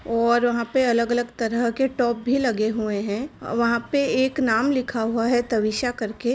और वहाॅं पे अलग-अलग तरह के टॉप भी लगे हुए हैं वहाॅं पे एक नाम लिखा हुआ है तविषा करके --